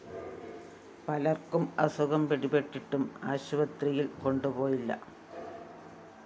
പലര്‍ക്കും അസുഖം പിടിപെട്ടിട്ടും ആശുപത്രിയില്‍ കൊണ്ടുപോയില്ല